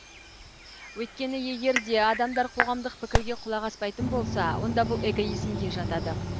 өйткені егер де адамдар қоғамдық пікірге құлақ аспайтын болса онда бұл эгоизмге жатады